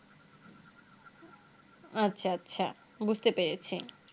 আচ্ছা আচ্ছা বুঝতে পেরেছি